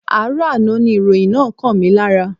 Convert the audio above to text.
Àárọ̀ àná ni ìròyìn náà kàn mí lára.